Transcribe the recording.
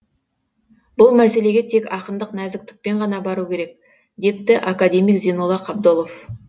бұл мәселеге тек ақындық нәзіктікпен ғана бару керек депті академик зейнолла қабдолов